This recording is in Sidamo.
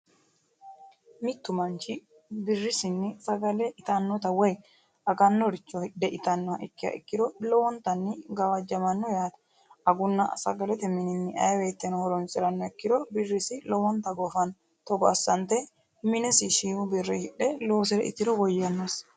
Mittu manichi birrisinni sagale itanotta woyi aganoricho hidhe itanoha ikiha ikiro lowo geesha gawajamanno yaatte agunna saggalete minini ayi woyiteno horonisiranoha ikiro birrisi lowwonittani goffanno Togo asanitenni minesi shiimu birrini hidhe loosire itiro woyannosi